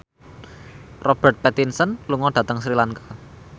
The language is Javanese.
Robert Pattinson lunga dhateng Sri Lanka